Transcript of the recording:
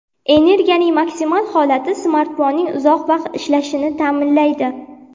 Energiyaning maksimal holati smartfonning uzoq vaqt ishlashini ta’minlaydi.